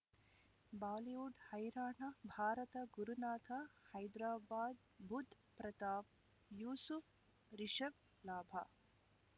Bollywood ಹೈರಾಣ ಭಾರತ ಗುರುನಾಥ ಹೈದರಾಬಾದ್ ಬುಧ್ ಪ್ರತಾಪ್ ಯೂಸುಫ್ ರಿಷಬ್ ಲಾಭ